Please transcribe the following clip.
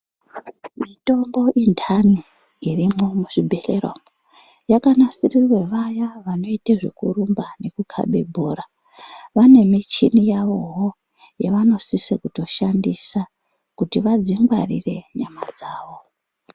Mitombo inthani irimwo muzvibhedhlera umwo yakanasirirwe vaya vanoite zvekurumba nekukabe bhora vane michini yavoo yavanosise kutoshandisa kuti vadzingwarire nyama dzavo.